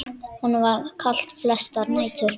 Honum var kalt flestar nætur.